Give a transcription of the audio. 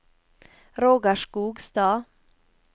Roger Skogstad